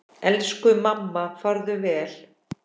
Elsku mamma, farðu vel.